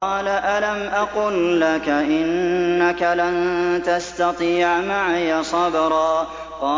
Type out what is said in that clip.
۞ قَالَ أَلَمْ أَقُل لَّكَ إِنَّكَ لَن تَسْتَطِيعَ مَعِيَ صَبْرًا